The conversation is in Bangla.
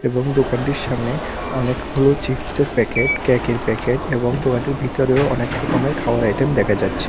এবং দোকানটির সামনে অনেকগুলো চিপসের প্যাকেট ক্যাকের প্যাকেট এবং দোকানটির ভিতরেও অনেকরকমের খাওয়ার আইটেম দেখা যাচ্ছে।